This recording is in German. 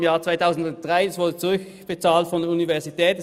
Im Jahr 2013 wurde das Geld von der Universität zurückbezahlt.